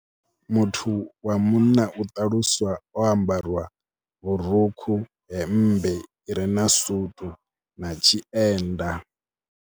Muthu wa munna u ṱaluswa o ambarwa vhurukhu, hemmbe i re na sutu na tshienda.